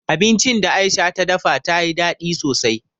Abincin da Aisha ta dafa ta yi daɗi sosai.